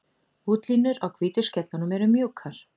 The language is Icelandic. Útlínur á hvítu skellunum eru mjúkar.